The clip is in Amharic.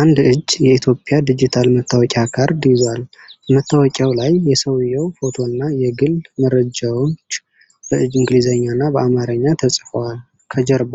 አንድ እጅ የኢትዮጵያ ዲጂታል መታወቂያ ካርድ ይዟል። በመታወቂያው ላይ የሰውዬው ፎቶና የግል መረጃዎች በእንግሊዝኛና በአማርኛ ተጽፈዋል። ከጀርባ